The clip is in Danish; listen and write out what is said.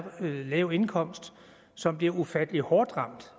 lav indkomst som bliver ufattelig hårdt ramt